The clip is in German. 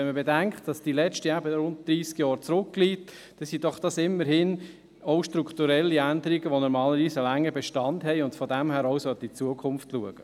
Wenn man bedenkt, dass die letzte eben rund dreissig Jahre zurückliegt, sind dies doch immerhin auch strukturelle Änderungen, die normalerweise einen langen Bestand haben und daher auch in die Zukunft schauen sollten.